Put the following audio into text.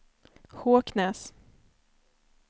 Håknäs